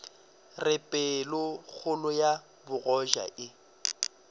re pelokgolo ya bogoja e